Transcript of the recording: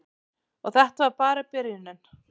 Og þetta var bara byrjunin.